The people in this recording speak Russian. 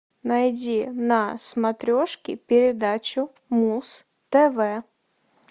найди на смотрешке передачу муз тв